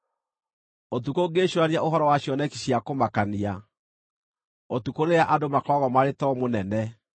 Ũtukũ ngĩĩcũũrania ũhoro wa cioneki cia kũmakania, ũtukũ rĩrĩa andũ makoragwo marĩ toro mũnene,